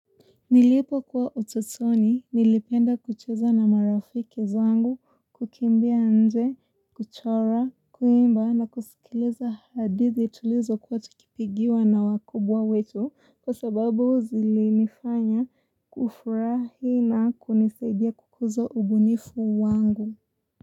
Nilipokuwa utotoni, nilipenda kucheza na marafiki zangu, kukimbia nje, kuchora, kuimba na kusikiliza hadithi tulizokuwa tukipigiwa na wakubwa wetu kwa sababu zilinifanya kufurahi na kunisaidia kukuzo ubunifu wangu.